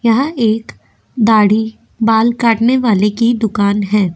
यहाँ एक दाढ़ी बाल काटने वाले की दुकान है।